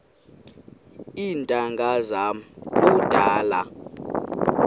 iintanga zam kudala